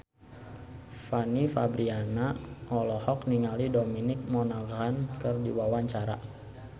Fanny Fabriana olohok ningali Dominic Monaghan keur diwawancara